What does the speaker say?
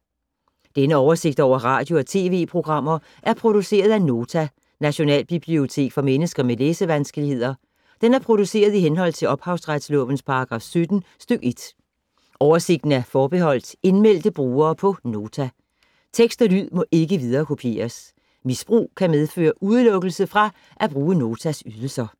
Denne oversigt over radio og TV-programmer er produceret af Nota, Nationalbibliotek for mennesker med læsevanskeligheder. Den er produceret i henhold til ophavsretslovens paragraf 17 stk. 1. Oversigten er forbeholdt indmeldte brugere på Nota. Tekst og lyd må ikke viderekopieres. Misbrug kan medføre udelukkelse fra at bruge Notas ydelser.